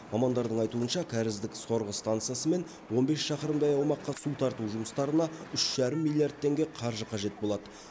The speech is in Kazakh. мамандардың айтуынша кәріздік сорғы станциясы мен он бес шақырымдай аумаққа су тарту жұмыстарына үш жарым миллиард теңге қаржы қажет болады